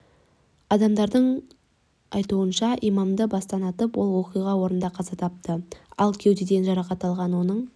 адамдардың айтуынша имамды бастан атып ол оқиға орнында қаза тапты ал кеудеден жарақат алған оның